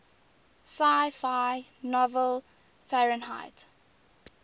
sci fi novel fahrenheit